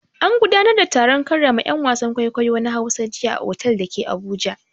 An gudanar da taron karrama 'yan wasan kwaikwayo na Hausa jiya a otal da ke Abuja.